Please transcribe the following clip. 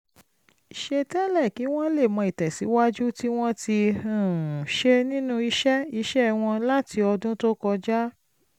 ṣe tẹ́lẹ̀ kí wọ́n lè mọ ìtẹ̀síwájú tí wọ́n ti um ṣe nínú iṣẹ́ iṣẹ́ wọn láti ọdún tó kọjá